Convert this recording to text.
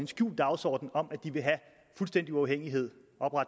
skjult dagsorden om at de vil have fuldstændig uafhængighed